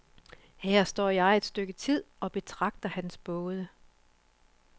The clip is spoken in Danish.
Her står jeg et stykke tid og betragter hans både.